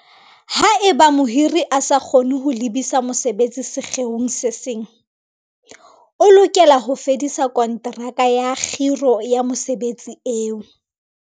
Haeba mohiri a sa kgone ho lebisa mosebeletsi sekgeong se seng, o lokela ho fedisa konteraka ya kgiro ya mosebeletsi eo.